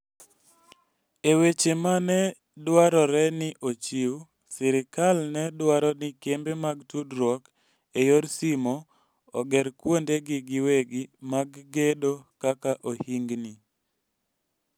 E weche ma ne dwarore ni ochiw, sirkal ne dwaro ni kembe mag tudruok e yor simo oger kuondegi giwegi mag gedo kaka ohingni.